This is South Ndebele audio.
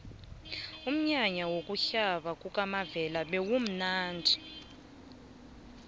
umnyanya wokuhlaba kukamavela bewumnadi